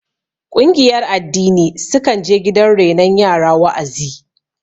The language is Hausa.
Ƙungiyar addini sukan je gidan renon yara wa'azi